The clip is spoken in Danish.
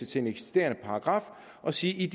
til en eksisterende paragraf og sige at i